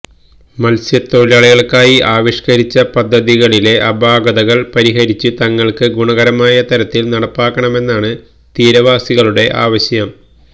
മത്സ്യത്തൊഴിലാളികള്ക്കായി ആവിഷ്കരിച്ച പദ്ധതികളിലെ അപാകതള് പരിഹരിച്ച് തങ്ങള്ക്ക് ഗുണകരമായ തരത്തില് നടപ്പാക്കണമെന്നാണ് തീരവാസികളുടെ ആവശ്യം